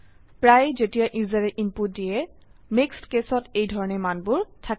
প্ৰায়েই যেতিয়া ইউজাৰে ইনপুট দিয়ে মিক্সড কেসত এইধৰনে মানবোৰ থাকে